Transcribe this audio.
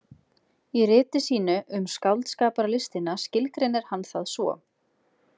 Í riti sínu „Um skáldskaparlistina“ skilgreinir hann það svo.